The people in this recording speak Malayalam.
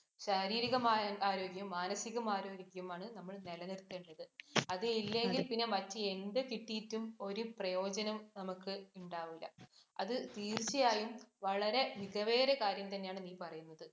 ശാരീരികമായ ആരോഗ്യം, മാനസികമായ ആരോഗ്യവുമാണ് നമ്മള്‍ നെലനിര്‍ത്തേണ്ടത്. അത് ഇല്ലെങ്കില്‍ പിന്നെ എന്ത് കിട്ടീട്ടും ഒരു പ്രയോജനം നമുക്ക് ഇണ്ടാവില്ല. അത് തീര്‍ച്ചയായും വളരെ മികവേറിയ കാര്യം തന്നെയാണ് നീ പറേന്നത്.